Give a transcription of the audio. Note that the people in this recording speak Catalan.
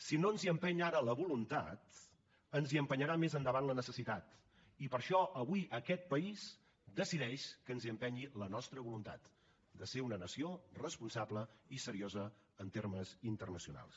si no ens hi empeny ara la voluntat ens hi empenyerà més endavant la necessitat i per això avui aquest país decideix que ens hi empenyi la nostra voluntat de ser una nació responsable i seriosa en termes internacionals